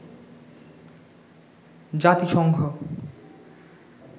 জাতিসংঘ